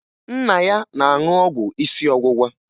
Nna ya na-aṅụ ọgwụ isi ọwụwa